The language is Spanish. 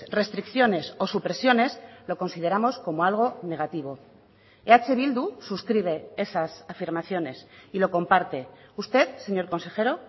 restricciones o supresiones lo consideramos como algo negativo eh bildu suscribe esas afirmaciones y lo comparte usted señor consejero